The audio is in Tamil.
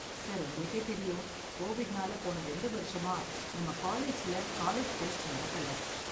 சார், உங்களுக்கே தெரியும், கோவிட்னால போன ரெண்டு வருஷமா நம்ம காலேஜ்ல காலேஜ் ஃபெஸ்ட் நடக்கல.